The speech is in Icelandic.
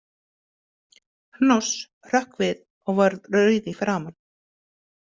Hnoss hrökk við og varð rauð í framan.